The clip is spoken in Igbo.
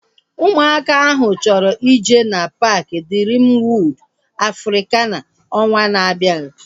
Ụmụaka ahu chọrọ ije na paaki Driim Wọod Afrikana ọnwaa na-abianu